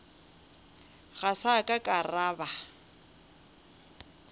ga sa ka ra ba